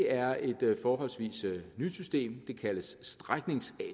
er et forholdsvis nyt system det kaldes stræknings